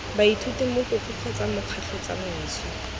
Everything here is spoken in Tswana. baithuti mogokgo kgotsa mokgatlho tsamaiso